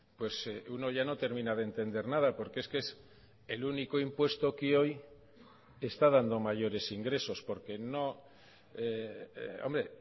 pues uno ya no termina de entender nada porque es que es el único impuesto que hoy está dando mayores ingresos porque no hombre